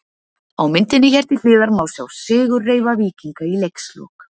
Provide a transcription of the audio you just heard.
Á myndinni hér til hliðar má sjá sigurreifa Víkinga í leikslok.